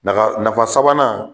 Nafa sabanan